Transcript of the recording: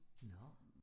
Nåh